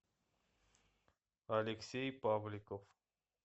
алексей павликов